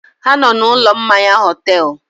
Ha nọ na ụlọ mmanya họtel